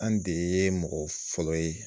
An de ye mɔgɔ fɔlɔ ye.